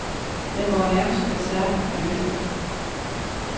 Jeg går nærmest bersærk af lykke.